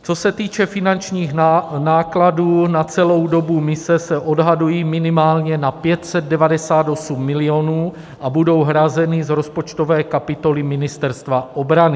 Co se týče finančních nákladů, na celou dobu mise se odhadují minimálně na 598 milionů a budou hrazeny z rozpočtové kapitoly Ministerstva obrany.